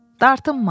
Dartınma.